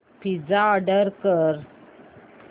pizza order कर